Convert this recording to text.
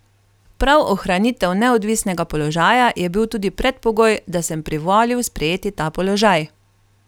Prav ohranitev neodvisnega položaja je bil tudi predpogoj, da sem privolil sprejeti ta položaj.